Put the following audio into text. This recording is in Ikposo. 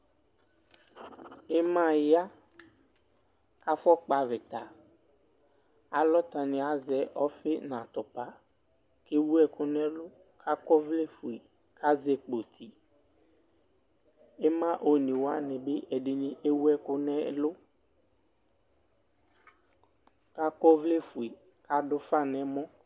imaya kaƒʋɔ kpavita alɔtɔniɛ azɛ ɔƒi natʋpa kewʋ ɛkʋ nɛlʋ ka kɔ ɔvlɛ ƒʋe kazɛ kpoti imaa onewanibi ɛdini ewʋɛkʋ nɛlʋ ka kɔ ɔvlɛƒʋe kadʋ ʋƒa nɛmɔ